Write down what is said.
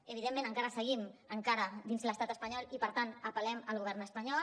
evidentment encara seguim encara dins l’estat espanyol i per tant apel·lem al govern espanyol